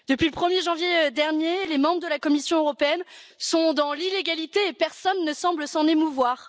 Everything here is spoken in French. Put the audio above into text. Depuis le 1er janvier dernier, les membres de la Commission européenne sont dans l'illégalité, mais personne ne semble s'en émouvoir.